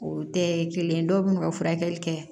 O tɛ ye kelen ye dɔw bɛ n'u ka furakɛli kɛ